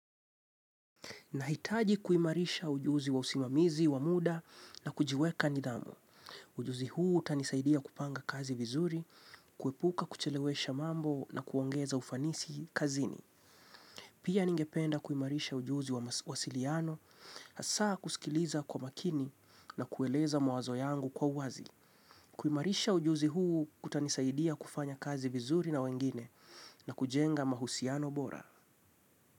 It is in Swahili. Nahitaji kuimarisha ujuzi wa usimamizi, wa muda na kujiweka nidhamu. Ujuzi huu utanisaidia kupanga kazi vizuri, kuepuka kuchelewesha mambo na kuongeza ufanisi kazini. Pia ningependa kuimarisha ujuzi wa mawasiliano, hasaa kusikiliza kwa makini na kueleza mawazo yangu kwa uwazi. Kuimarisha ujuzi huu kutanisaidia kufanya kazi vizuri na wengine na kujenga mahusiano bora.